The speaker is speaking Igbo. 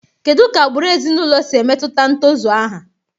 Kedu ka agbụrụ ezinụlọ si emetụta ntozu aha?